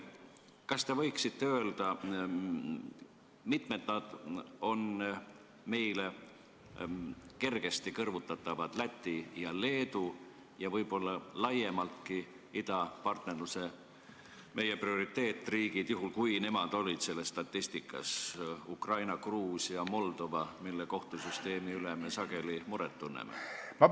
Kas te võiksite öelda, mitmendal kohal on meiega kergesti kõrvutatavad Läti ja Leedu ja võib-olla laiemaltki meie idapartnerluse prioriteetriigid Ukraina, Gruusia, Moldova, mille kohtusüsteemi pärast me sageli muret tunneme?